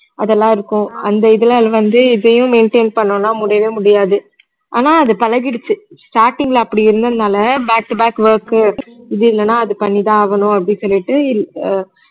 அதெல்லாம் இருக்கும் அந்த இதெல்லாம் இதுல வந்து இதையும் maintain பண்ணனும்னா முடியவே முடியாது ஆனா அது பழகிடுச்சு starting ல அப்படி இருந்ததுனால back to back work இது இல்லன்னா அது பண்ணி தான் ஆகணும் அப்படி சொல்லிட்டு இ~ அஹ்